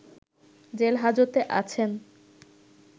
জেলহাজতে আছেন